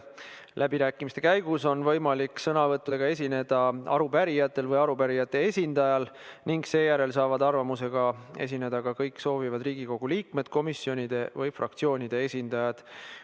Läbirääkimiste käigus on võimalik sõnavõttudega esineda arupärijatel või arupärijate esindajal ning seejärel saavad arvamusega esineda ka kõik Riigikogu liikmed, komisjonide või fraktsioonide esindajad.